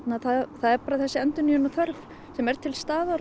það er bara þessi endurnýjunarþörf sem er til staðar